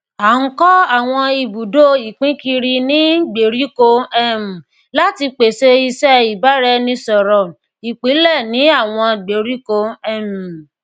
a n kọ awọn ibudo ipinkiri ni gberiko um lati pese iṣẹ ibaraẹnisọrọl ipilẹ ni awọn gberiko um